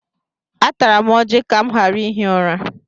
Atara m ọjị ka m ghara ihi ụra.